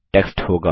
text होगा